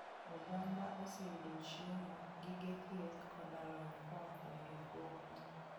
Oganda oseyudo chiemo, gige thieth, koda lony koa kuom riwruogno.